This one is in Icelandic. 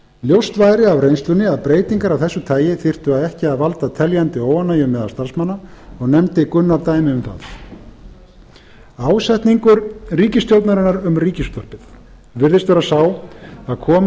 ljóst væri af reynslunni að breytingar af þessu tagi þyrftu ekki að valda teljandi óánægju meðal starfsmanna og nefndi gunnar dæmi um það ásetningur ríkisstjórnarinnar um ríkisútvarpið virðist vera sá að